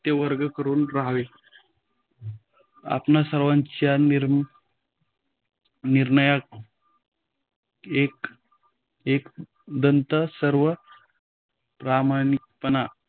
सत्यवर्तन करून राहावे. आपणां सर्वांच्य नीर निर्णय़ एक एकंदर सर्व प्राणिमात्रांना